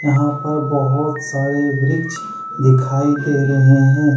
यहां पर बहुत सारे वृक्ष दिखाई दे रहे हैं।